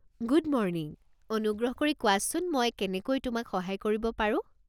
Good morning, অনুগ্ৰহ কৰি কোৱাচোন মই কেনেকৈ তোমাক সহায় কৰিব পাৰোঁ।